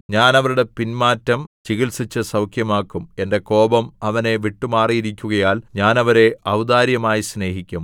ഞാൻ അവരുടെ പിൻമാറ്റം ചികിത്സിച്ചു സൗഖ്യമാക്കും എന്റെ കോപം അവനെ വിട്ടുമാറിയിരിക്കുകയാൽ ഞാൻ അവരെ ഔദാര്യമായി സ്നേഹിക്കും